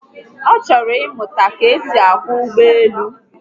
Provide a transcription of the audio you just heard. O choro imu ka-esi akwo ugboelu